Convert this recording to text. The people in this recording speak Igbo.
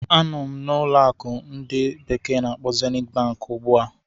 Anọ m na ụlọ akụ ndi bekee na-akpo Zeniti Bank ugbu a.